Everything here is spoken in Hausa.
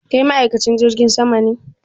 Kai ma'aikacin jirgin sama ne?